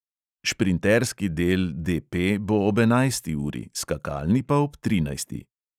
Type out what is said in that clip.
Šprinterski del DP bo ob enajsti uri, skakalni pa ob trinajsti.